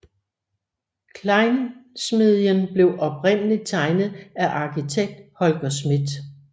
Klejnsmedien blev oprindeligt tegnet af arkitekt Holger Schmidt